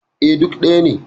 E, duk ɗaya ne.